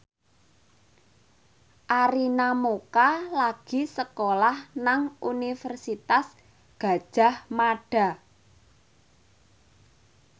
Arina Mocca lagi sekolah nang Universitas Gadjah Mada